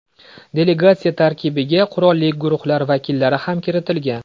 Delegatsiya tarkibiga qurolli guruhlar vakillari ham kiritilgan.